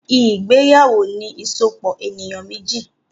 ìgbéyàwó ní a Euróòpu ènìyàn méjì